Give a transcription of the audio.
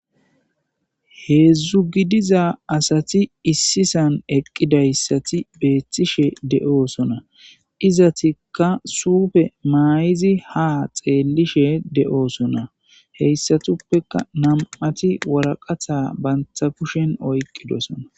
heedzdzu gidiza asati issisan eqqidayssati beetishe de'oosona izatikka sufe maayizi ha xeellishe de'oosona heyssatuppeka nam'ati woraqata banta kushen oyqqidosona